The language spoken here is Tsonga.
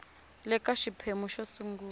le ka xiphemu xo sungula